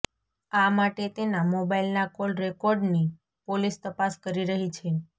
આ માટે તેના મોબાઈલના કોલ રેકોર્ડની પોલીસ તપાસ કરી રહી છે